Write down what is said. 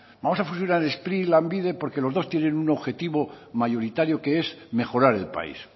vamos a fusionar spri y lanbide porque los dos tienen un objetivo mayoritario que es mejorar el país